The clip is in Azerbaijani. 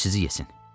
Qoy sizi yesin!